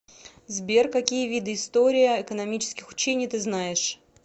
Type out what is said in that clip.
сбер какие виды история экономических учений ты знаешь